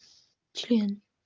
член